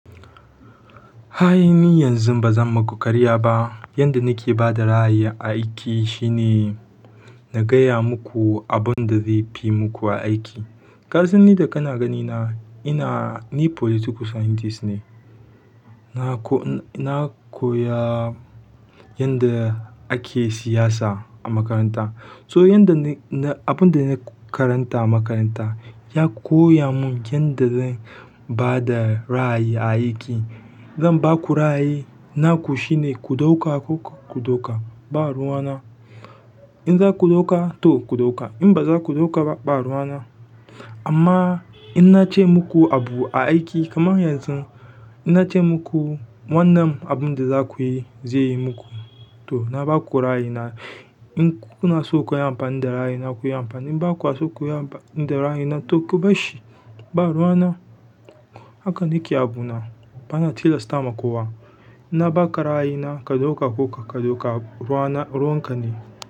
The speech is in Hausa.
Ayi ni yanzu ba zan maku karya ba. Yanda nake bada ra'ayin aiki shine na gaya muku abun da zai fi muku aiki. Ƙasan ni da kana ganina, ina, ni political scientist ne. Na ko, na koya yanda ake siyasa a makaranta. So yanda ni, na, abun da na karanta a makaranta ya koya mun yanda zan ba da ra'ayi a aiki. Zan baku ra'ayi naku shine ku ɗauka ko ku ɗauka, ba ruwana. In za ku ɗauka to ku ɗauka, in ba za ku ɗauka ba, ba ruwana. Amma in na ce muku abu a aiki kamar yanzu, in na ce muku wannan abunda za ku yi zai yi muku to na baku ra'ayi na. In kuna so ku yi amfani da ra'ayi na ku yi amfani. In bakwa so ku yi amfani da ra'ayi na to ku bashi, ba ruwana. Haka nake abu na. Bana tilasta ma kowa. Na ba ka ra'ayi na, ka ɗauka ko kar ɗauka, ruwana ruwanka ne.